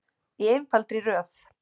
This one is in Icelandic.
Í einfaldri röð.